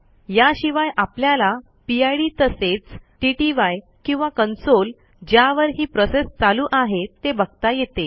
याशिवाय आपल्याला पिड तसेच टीटीवाय किंवा कन्सोल ज्यावर ही प्रोसेस चालू आहे ते बघता येते